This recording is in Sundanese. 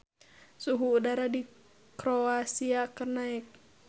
Suhu udara di Kroasia keur naek